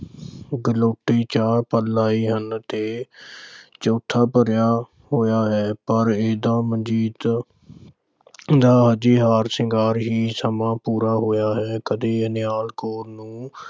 ਲਾਏ ਹਨ ਤੇ ਚੌਥਾ ਭਰਿਆ ਹੋਇਆ ਹੈ। ਪਰ ਇਹਦਾ ਮਨਜੀਤ ਦਾ ਹਜੇ ਹਾਰ-ਸ਼ਿੰਗਾਰ ਹੀ ਸਮਾਂ ਪੂਰਾ ਹੋਇਆ ਹੈ। ਕਦੇ ਨਿਹਾਲ ਕੌਰ ਨੂੰ